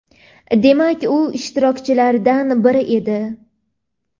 demak u ishtirokchilardan biri edi).